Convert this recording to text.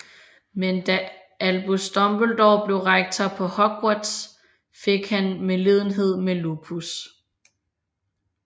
Men da Albus Dumbledore blev rektor på Hogwarts fik han medlidenhed med Lupus